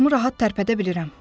Başımı rahat tərpədə bilirəm.